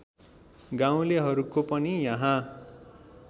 गाउँलेहरूको पनि यहाँ